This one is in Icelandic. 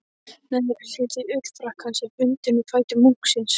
Neðri hluti ullarfrakkans er bundinn um fætur munksins.